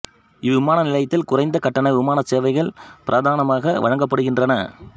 இவ்விமான நிலையத்தில் குறைந்த கட்டண விமான சேவைகள் பிரதானமாக வழங்கப்படுகின்றன